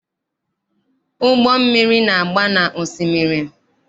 Ụgbọ mmiri na-agba na osimiri.